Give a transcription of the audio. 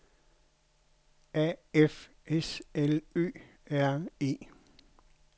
A F S L Ø R E